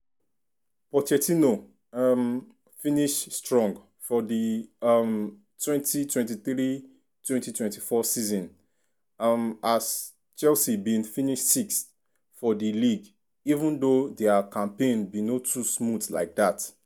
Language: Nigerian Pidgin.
pochettino um finish strong for di um 2023-24 season um as chelsea bin finish sixth for di league even though dia campaign bin no too smooth like dat.